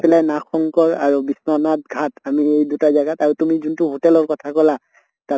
পেলে নাগ শঙ্কৰ আৰু বিশ্বনাথ ঘাট আমি এই দুটা জাগাত আৰু তুমি যোনটো hotel ৰ কথা কলা তা